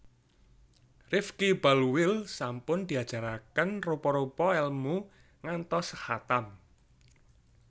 Rifky Balweel sampun diajaraken rupa rupa elmu ngantos khatam